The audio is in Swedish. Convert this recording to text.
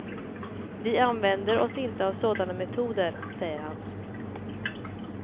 Vi använder oss inte av sådana metoder, säger han.